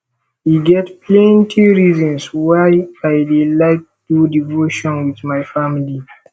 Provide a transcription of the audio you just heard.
e get plenty reasons why i dey like do devotion wit my family